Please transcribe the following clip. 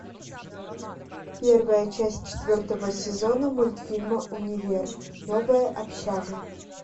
первая часть четвертого сезона мультфильма универ новая общага